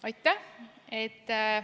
Aitäh!